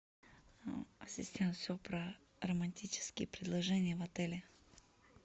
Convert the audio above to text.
ассистент все про романтические предложения в отеле